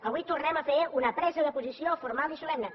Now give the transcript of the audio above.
avui tornem a fer una presa de posició formal i solemne